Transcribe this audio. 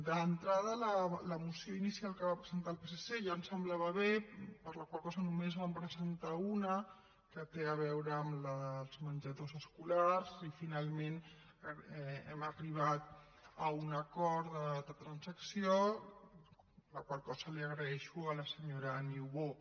d’entrada la moció inicial que va presentar el psc ja ens semblava bé per la qual cosa només en vam presentar una que té a veure amb els menjadors escolars i finalment hem arribat a un acord de transacció la qual cosa agraeixo a la senyora niubó